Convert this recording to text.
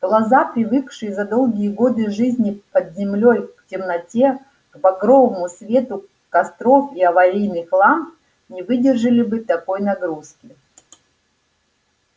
глаза привыкшие за долгие годы жизни под землёй к темноте к багровому свету костров и аварийных ламп не выдержали бы такой нагрузки